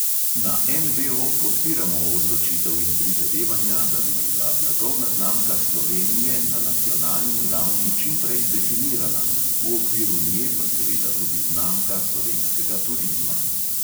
Na NVO podpiramo odločitev in prizadevanja, da bi bila blagovna znamka slovenije na nacionalni ravni čim prej definirana, v okviru nje pa seveda tudi znamka slovenskega turizma.